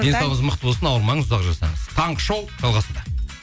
денсаулығыңыз мықты болсын ауырмаңыз ұзақ жасаңыз таңғы шоу жалғасуда